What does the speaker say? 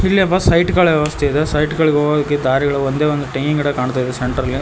ಇಲ್ಲೊಬ್ಬ ಸೈಟ್ ಗಳ ವ್ಯವಸ್ಥೆ ಇದೆ ಸೈಟ್ ಗಳಿಗೆ ಹೋಗೋಕೆ ದಾರಿಗಳು ಒಂದೇ ಒಂದು ತೆಂಗಿನ ಗಿಡ ಕಾಣ್ತಾ ಇದೆ ಸೆಂಟರ್ ಅಲ್ಲಿ.